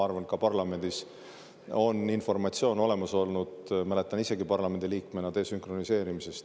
Ma arvan, et ka parlamendis on informatsioon desünkroniseerimise kohta olemas olnud, mäletan isegi parlamendiliikmena.